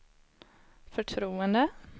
förtroende